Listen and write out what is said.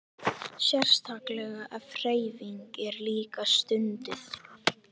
Sérstaklega ef hreyfing er líka stunduð.